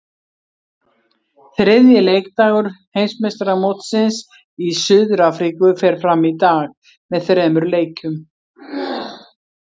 Þriðji leikdagur Heimsmeistaramótsins í Suður Afríku fer fram í dag með þremur leikjum.